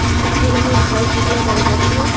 একটা পুরনো ঘর খুলা দ্যাগা যাচ্ছে।